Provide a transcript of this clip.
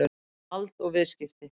Vald og viðskipti.